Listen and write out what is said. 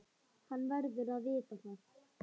Hann verður að vita það.